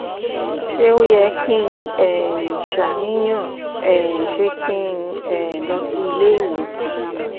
ṣé ó yẹ kí um n ṣàníyàn? um ṣé kí n um lọ sí ilé ìwòsàn?